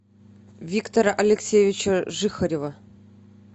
виктора алексеевича жихарева